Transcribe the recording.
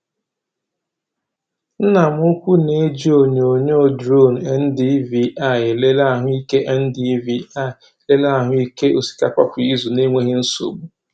Nna m ukwu na-eji onyonyo drone NDVI elele ahụike NDVI elele ahụike osikapa kwa izu na-enweghị nsogbu.